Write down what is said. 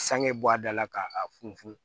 Sanŋe bɔ a da la k'a funfun